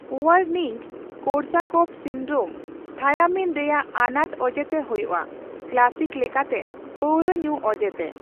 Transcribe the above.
Wernicke-Korsakoff syndrome thiamine ᱨᱮᱭᱟᱜ ᱟᱱᱟᱴ ᱚᱡᱮᱛᱮ ᱦᱳᱭᱳᱜᱼᱟ, ᱠᱮᱞᱟᱥᱤᱠ ᱞᱮᱠᱟᱛᱮ ᱯᱟᱹᱣᱨᱟᱹ ᱧᱩ ᱚᱡᱮᱛᱮ ᱾